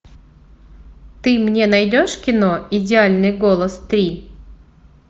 ты мне найдешь кино идеальный голос три